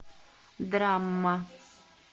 драма